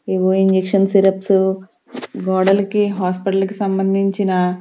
ఏవో injection syrups గోడలకి hospital కి సంబంధించిన.